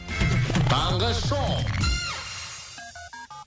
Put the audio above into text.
таңғы шоу